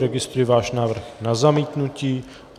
Registruji váš návrh na zamítnutí.